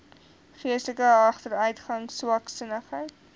geestelike agteruitgang swaksinnigheid